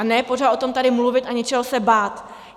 A ne pořád o tom tady mluvit a něčeho se bát!